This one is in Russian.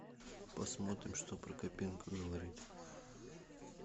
посмотрим что прокопенко говорит